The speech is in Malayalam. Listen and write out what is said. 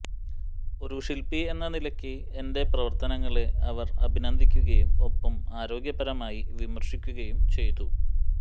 ഒരു ശിൽപി എന്ന നിലയ്ക്ക് എന്റെ പ്രവർത്തനങ്ങളെ അവർ അഭിനന്ദിക്കുകയും ഒപ്പം ആരോഗ്യകരമായി വിമർശിക്കുകയും ചെയ്തു